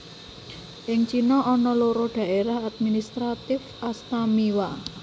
Ing China ana loro Daérah Administratif Astamiwa